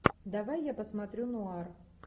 давай я посмотрю нуар